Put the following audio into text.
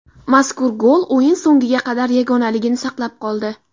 Mazkur gol o‘yin so‘ngiga qadar yagonaligini saqlab qoldi.